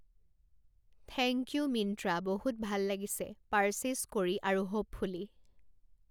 thank you Myntra বহুত ভাল লাগিছে, পাৰ্ছেছ কৰি আৰু হ'পফুলি